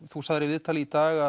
þú sagðir í viðtali í dag